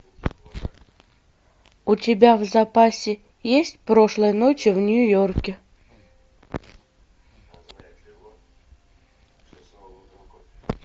у тебя в запасе есть прошлой ночью в нью йорке